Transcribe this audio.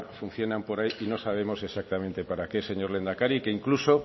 funcionan por ahí y no sabemos exactamente para qué señor lehendakari que incluso